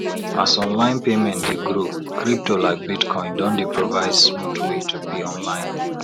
as online payment dey growcrypto like bitcoin don dey provide smooth way to pay online